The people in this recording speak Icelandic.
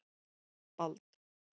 Bald